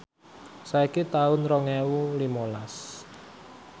saiki taun rong ewu limalas